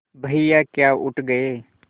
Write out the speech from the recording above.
भैया क्या उठ गये